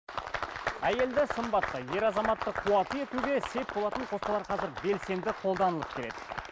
әйелді сымбатты ер азаматты қуатты етуге сеп болатын қоспалар қазір белсенді қолданылып келеді